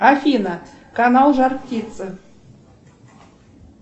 афина канал жар птица